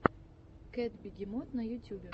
кэтбегемот на ютюбе